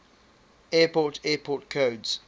airport airport codes